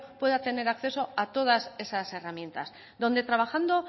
pueda tener acceso a todas esas herramientas donde trabajando